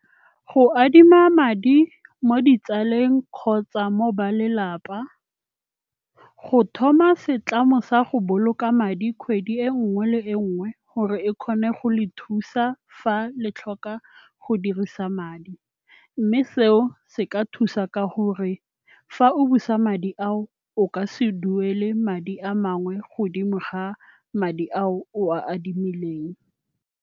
Go adima madi mo ditsaleng kgotsa mo ba lelapa, go thoma setlamo sa go boloka madi kgwedi e nngwe le e nngwe gore e kgone go le thusa fa le tlhoka go dirisa madi. Mme seo se ka thusa ka gore fa o busa madi ao o ka se duele madi a mangwe godimo ga madi ao o a adimileng.